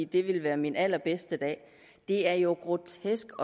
det ville være min allerbedste dag det er jo grotesk